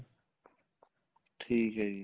ਠੀਕ ਏ ਜੀ